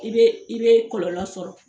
I bɛ i bɛ kɔlɔlɔ sɔrɔ.